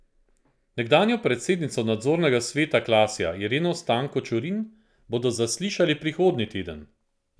Nekdanjo predsednico nadzornega sveta Klasja Ireno Stanko Čurin bodo zaslišali prihodnji teden.